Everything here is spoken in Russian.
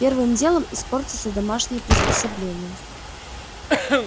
первым делом испортятся домашние приспособления